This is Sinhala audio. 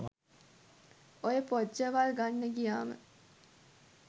ඔය පොජ්ජවල් ගන්න ගියාම